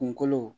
Kunkolo